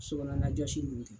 Sokɔnɔna jɔsi